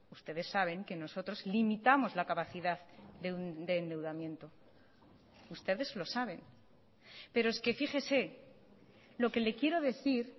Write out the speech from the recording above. ustedes saben que nosotros limitamos la capacidad de endeudamiento ustedes lo saben pero es que fíjese lo que le quiero decir